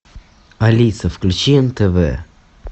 алиса включи нтв